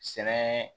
Sɛnɛ